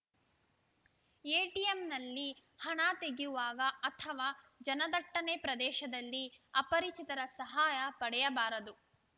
ಎಟಿಎಂನಲ್ಲಿ ಹಣ ತೆಗೆಯುವಾಗ ಅಥವಾ ಜನದಟ್ಟನೆ ಪ್ರದೇಶದಲ್ಲಿ ಅಪರಿಚಿತರ ಸಹಾಯ ಪಡೆಯಬಾರದು